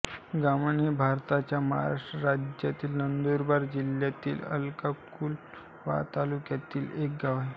गामण हे भारताच्या महाराष्ट्र राज्यातील नंदुरबार जिल्ह्यातील अक्कलकुवा तालुक्यातील एक गाव आहे